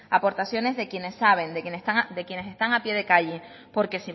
aportaciones de quienes saben de quienes están a pie de calle porque